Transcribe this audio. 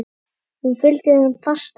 Hún fylgdi þeim fast eftir.